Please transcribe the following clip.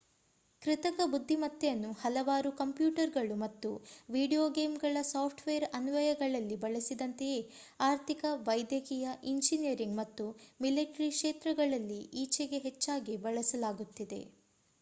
ಕೃತಕ ಬುದ್ಧಿಮತ್ತೆಯನ್ನು ಹಲವಾರು ಕಂಪ್ಯೂಟರ್‍‍ಗಳು ಮತ್ತು ವೀಡಿಯೋ ಗೇಮ್‌ಗಳ ಸಾಫ್ಟ್‌ವೇರ್ ಅನ್ವಯಗಳಲ್ಲಿ ಬಳಸಿದಂತೆಯೇ ಅರ್ಥಿಕ ವೈದ್ಯಕೀಯ ಇಂಜಿನಿಯರಿಂಗ್ ಮತ್ತು ಮಿಲಿಟರಿ ಕ್ಷೇತ್ರಗಳಲ್ಲಿ ಈಚೆಗೆ ಹೆಚ್ಚಾಗಿ ಬಳಸಲಾಗುತ್ತಿದೆ